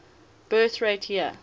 birth rate year